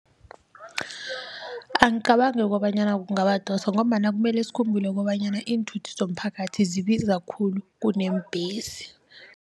Angicabangi kobanyana kungabadosa ngombana kumele sikhumbule kobanyana iinthuthi zomphakathi zibiza khulu kuneembhesi.